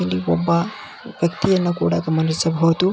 ಇಲ್ಲಿ ಒಬ್ಬ ವ್ಯಕ್ತಿಯನ್ನು ಕೂಡ ಗಮನಿಸಬಹುದು.